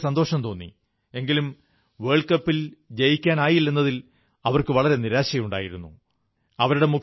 എനിക്കു വളരെ സന്തോഷം തോന്നി എങ്കിലും ലോകകപ്പ് ജയിക്കാനായില്ലെന്നതിൽ അവർക്കു വളരെ നിരാശയുണ്ടെന്നു മനസ്സിലായി